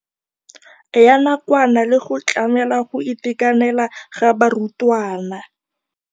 Ya nakwana le go tlamela go itekanela ga barutwana.